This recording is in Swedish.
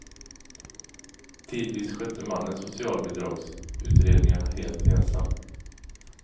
Tidvis skötte mannen socialbidragsutredningarna helt ensam.